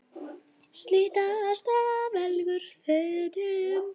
Siglt af stað seglum þöndum.